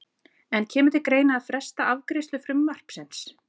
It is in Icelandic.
En kemur til greina að fresta afgreiðslu frumvarpsins?